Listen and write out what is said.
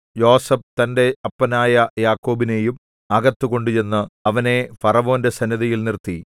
യോസേഫ് തന്റെ അപ്പനായ യാക്കോബിനെയും അകത്ത് കൊണ്ടുചെന്നു അവനെ ഫറവോന്റെ സന്നിധിയിൽ നിർത്തി